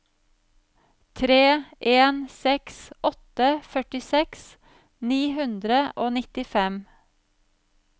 tre en seks åtte førtiseks ni hundre og nittifem